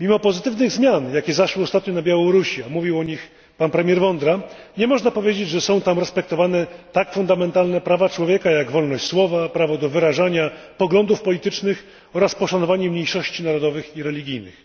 Mimo pozytywnych zmian, jakie zaszły ostatnio na Białorusi, a mówił o nich pan premier Vondra, nie można powiedzieć, że są tam respektowane tak fundamentalne prawa człowieka jak wolność słowa, prawo do wyrażania poglądów politycznych oraz poszanowanie mniejszości narodowych i religijnych.